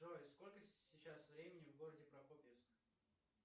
джой сколько сейчас времени в городе прокопьевск